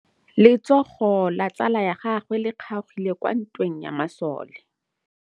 Letsôgô la tsala ya gagwe le kgaogile kwa ntweng ya masole.